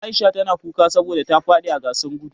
Aisha ta na kuka saboda ta fadi a gasar gudu.